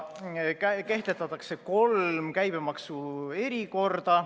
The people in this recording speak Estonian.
Kehtestatakse kolm käibemaksu erikorda.